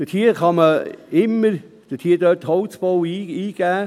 Holzbau kann man dort immer eingeben;